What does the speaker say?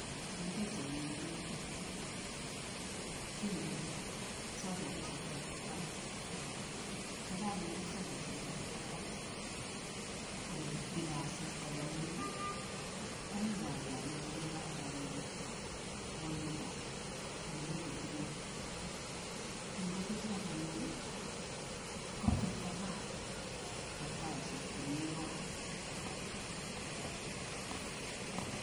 Eng pichaini ikere, kindeni solaisiek kibatit barak, nda kakinde solaisiek kibatit barak ii ole bire asista komie, komi wayat nebunu barak anyun akonyo ko ole mi betirit, eng betiriot anyun kopcheita maat eng taisiek chemi kot.